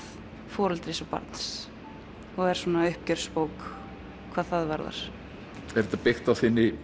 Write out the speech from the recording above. foreldris og barns og er svona uppgjörsbók hvað það varðar er þetta byggt á